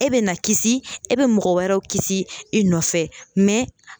E bɛ na kisi e bɛ mɔgɔ wɛrɛw kisi i nɔfɛ mɛ